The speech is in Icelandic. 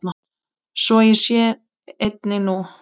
Svo sé einnig nú.